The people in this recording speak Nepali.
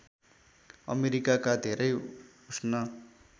अमेरिकाका धेरै उष्ण